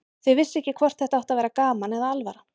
Þau vissu ekki hvort þetta átti að vera gaman eða alvara.